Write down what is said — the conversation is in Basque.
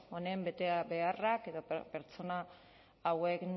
honen beharrak edo pertsona hauen